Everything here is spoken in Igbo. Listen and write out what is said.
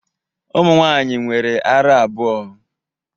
Ụmụ nwaanyị nwere ara abụọ.